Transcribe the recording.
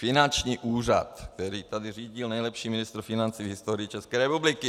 Finanční úřad, který tady řídil nejlepší ministr financí v historii České republiky.